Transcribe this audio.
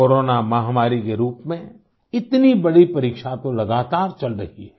corona महामारी के रूप में इतनी बड़ी परीक्षा तो लगातार चल रही है